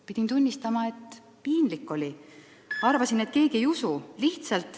Pidin tunnistama, et piinlik oli – arvasin, et keegi ei usu.